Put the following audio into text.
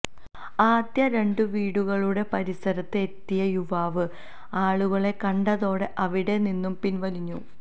ആദ്യം രണ് വീടുകളുടെ പരിസരത്ത് എത്തിയ യുവാവ് ആളുകളെ കണ്ടതോടെ അവിടെ നിന്നും പിൻവലിഞ്ഞു